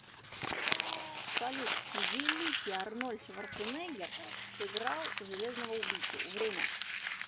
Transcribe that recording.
салют великий арнольд шварценеггер сыграл железного убийцу время